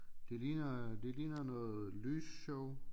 Det ligner det ligner noget lysshow